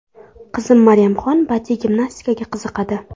Qizim Maryamxon badiiy gimnastikaga qiziqadi.